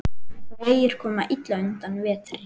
Vegir koma illa undan vetri.